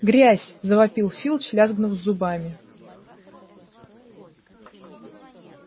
грязь завопил филч лязгнув зубами